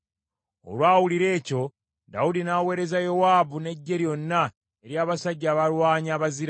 Olwawulira ekyo, Dawudi n’aweereza Yowaabu n’eggye lyonna ery’abasajja abalwanyi abazira.